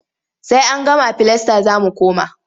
Sai an gama filasta za mu koma.